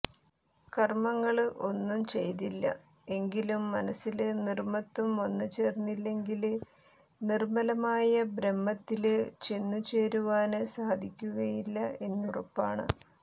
കര്മ്മങ്ങള് ഒന്നും ചെയ്തില്ല എങ്കിലും മനസ്സില് നിര്മ്മമത്വം വന്നു ചേര്ന്നില്ലെങ്കില് നിര്മ്മലമായ ബ്രഹ്മത്തില് ചെന്നു ചേരുവാന് സാധിക്കുകയില്ല എന്നുറപ്പാണ്